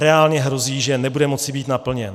Reálně hrozí, že nebude moci být naplněn.